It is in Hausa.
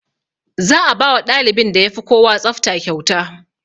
Za a bawa ɗalibin da yafi kowa tsafta kyauta